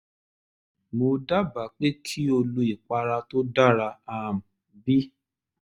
mo dábàá pé kí o lo ìpara tó dara um b